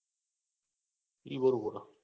એ બરોબર